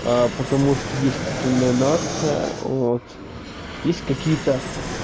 потому что есть титульная нация вот есть какие-то